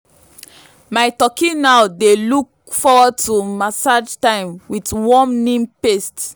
my turkey now dey look forward to massage time with warm neem paste.